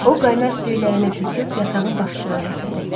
O qaynar suyu ləyənə töküb yatağın başucuna gətirdi.